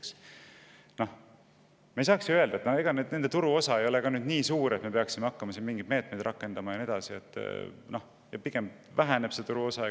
Me ei saaks ju öelda, et nende turuosa ei ole nii suur, et me peaksime hakkama mingeid meetmeid rakendama, see turuosa pigem väheneb ja nii edasi.